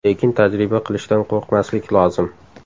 Lekin tajriba qilishdan qo‘rqmaslik lozim.